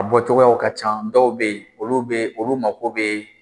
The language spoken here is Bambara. A bɔcogow ka ca dɔw bɛ yen olu bɛ olu mago bɛ